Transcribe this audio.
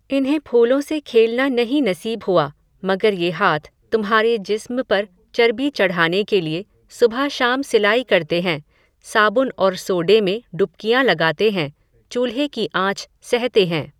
इन्हें फूलों से खेलना नहीं नसीब हुआ, मगर ये हाथ, तुम्हारे जिस्म पर चरबी चढाने के लिये, सुबह शाम सिलाई करते हैं, साबुन और सोडे में डुबकियां लगाते हैं, चूल्हे की आंच सहते हैं